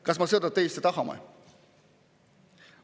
Kas me seda tõesti tahame?